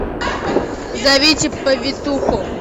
зовите повитуху